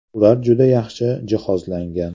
Ular juda yaxshi jihozlangan.